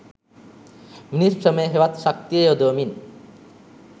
මිනිස් ශ්‍රමය හෙවත් ශක්තිය යොදවමින්